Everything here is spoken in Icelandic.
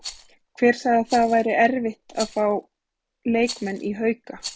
Hver sagði svo að það væri erfitt að fá leikmenn í Hauka?